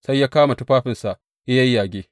Sai ya kama tufafinsa ya yayyage.